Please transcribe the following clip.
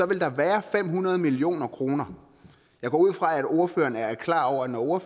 vil der være fem hundrede million kroner jeg går ud fra at ordføreren er klar over at når